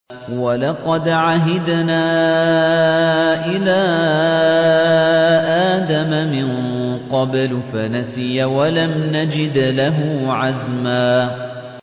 وَلَقَدْ عَهِدْنَا إِلَىٰ آدَمَ مِن قَبْلُ فَنَسِيَ وَلَمْ نَجِدْ لَهُ عَزْمًا